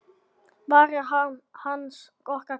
Varð harmur hans okkar gæfa?